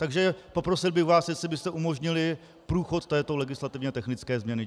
Takže poprosil bych vás, jestli byste umožnili průchod této legislativně technické změny.